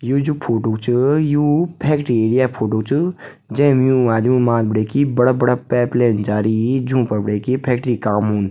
यु जू फोटू च यु फैक्ट्री एरिया क फोटो च जैम यूं आदिमो क माथ बटे की बड़ा बड़ा पाइप लाइन जारीं जूं फर बटे की फैक्ट्री क काम हुन्द।